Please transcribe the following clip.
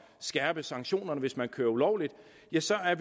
skærpe sanktionerne hvis man kører ulovligt ja så